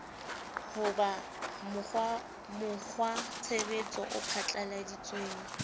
ho ba mokgwatshebetso o phatlalladitsweng